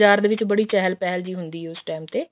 ਦੇ ਵਿੱਚ ਬੜੀ ਚਹਿਲ ਪਹਿਲ ਹੁੰਦੀ ਹੈ ਉਸ time ਤੇ